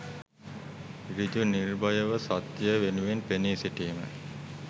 සෘජු, නිර්භයව, සත්‍යය වෙනුවෙන් පෙනී සිටීම